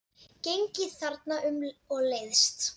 Gengið þarna um og leiðst.